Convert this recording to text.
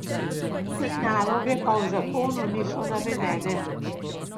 Te naloge pa v zakonu niso navedene.